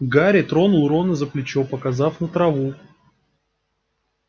гарри тронул рона за плечо показав на траву